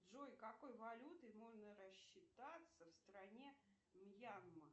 джой какой валютой можно рассчитаться в стране мьянма